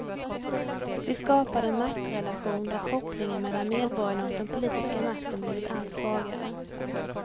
Vi skapade en maktrelation där kopplingen mellan medborgarna och den politiska makten blivit allt svagare.